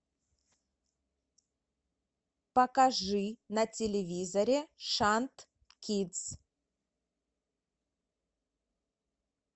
покажи на телевизоре шант кидс